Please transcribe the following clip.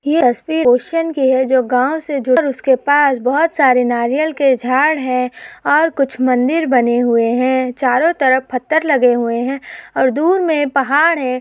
यह तस्वीर ओशन की है जो गाँव से जुड़कर उसके बहुत सारे नारियल के झाड है और कुछ मंदिर बने हुवे है। चारों तरफ पत्थर लगे हुवे है और दूर में पहाड है।